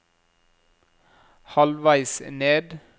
halvveis ned